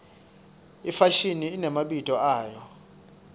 ifashini inemabito ayo